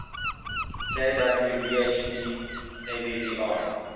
kw bhp abbr